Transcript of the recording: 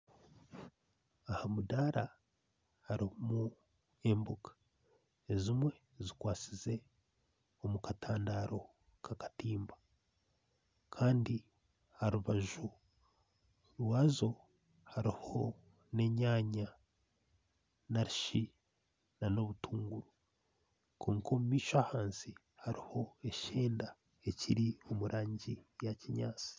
Ahamudara harumu emboga ezimwe zikwatsize omukatandaro kakatimba Kandi aharubaju rwazo haruho n'enyaanya n'obutunguru kwonka omumaisho ahansi haruho eshenda ekiri omurangi ya kinyansi